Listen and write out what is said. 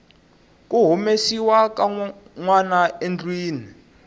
ku humesiwa ka nwanaendlwini